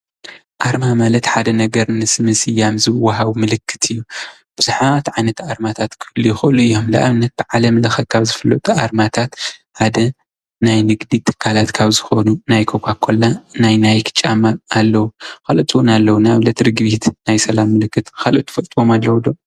ኣርማ ማለት ሓደ ነገር ምስ ምስያም ዝወሃብ ምልክት እዩ። ብዙሓት ዓይነት ኣርማታት ክህልው ይክእሉ እዮም። ንኣብነት ብዓለም ለኸ ካብ ዝፍለጡ ኣርማታት ሓደ ናይ ንግዲ ትካላት ማለት ካብ ዝኾኑ ናይ ኮካ ኮላን ፣ናይ ናይክ ጫማን ኣለው። ካልኦት እውን ኣለው ንኣብነት ርግቢት ናይ ሰላም ምልክት። ካልኦት እትፈልጥዎም ኣለው ዶ?